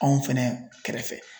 Anw fɛnɛ kɛrɛfɛ.